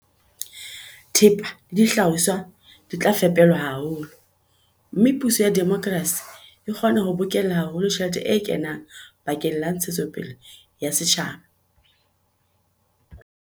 Thepa le dihlahiswa di tla fepelwa haholo, mme puso ya demokrasi e kgona ho bokella haholo tjhelete e kenang bakeng la ntshetsopele ya setjhaba.